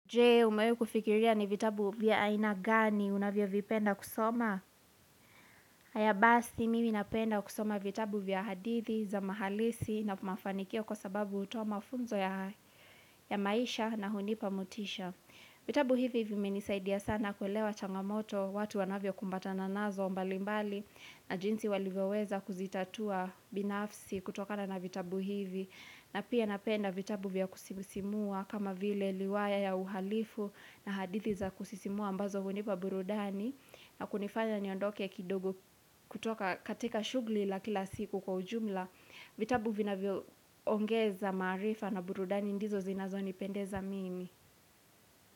Je, umewahi kufikiria ni vitabu vya aina gani unavyo vipenda kusoma? Haya basi, mimi napenda kusoma vitabu vya hadithi za mahalisi na mafanikio kwa sababu hutoa mafunzo ya maisha na hunipa motisha. Vitabu hivi vimenisaidia sana kuelewa changamoto watu wanavyo kumbatana nazo mbalimbali na jinsi walivyo weza kuzitatua binafsi kutokana na vitabu hivi. Na pia napenda vitabu vya kusimusimua kama vile riwaya ya uhalifu na hadithi za kusisimua ambazo hunipa burudani na kunifanya niondoke kidogo kutoka katika shugli la kila siku kwa ujumla vitabu vinavyo ongeza maarifa na burudani ndizo zinazo nipendeza mimi.